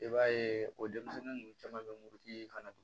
I b'a ye o denmisɛnnin ninnu caman be mugutigi ye kana dun